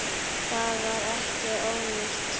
Það var ekki ónýtt.